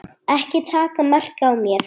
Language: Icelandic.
Ekki taka mark á mér.